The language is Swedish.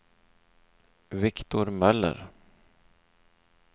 Viktor Möller